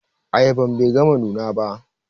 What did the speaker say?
Ayaban Bai gama nuna ko ba.